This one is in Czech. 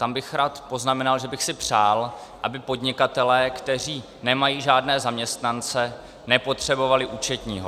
Tam bych rád poznamenal, že bych si přál, aby podnikatelé, kteří nemají žádné zaměstnance, nepotřebovali účetního.